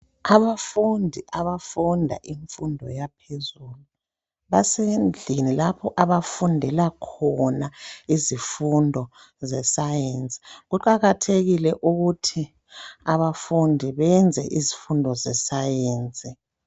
Abafundi abafunda imfundo yaphezulu basendlini lapho abafundela khona izifundo ze"Science" kuqakathekile ukuthi abafundi benze izifundo ze"Science ".